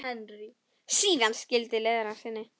Síðan skildi leiðir að sinni.